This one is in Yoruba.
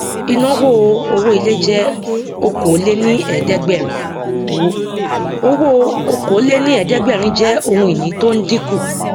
inawo owó ilé jẹ okòóléníẹẹdẹgbẹrin owó owó okòóléníẹẹdẹgbẹrin jẹ ohun ìní tó ń dinku